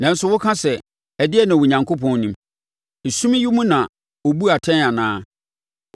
Nanso woka sɛ, ‘Ɛdeɛn na Onyankopɔn nim? Esum yi mu na ɔbu atɛn anaa?